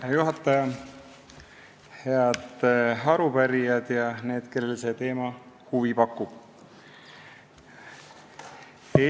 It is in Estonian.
Hea juhataja, head arupärijad ja need, kellele see teema huvi pakub!